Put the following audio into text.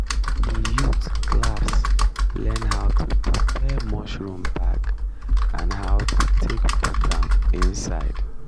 the youth class learn how to prepare mushroom bag and how to take put am inside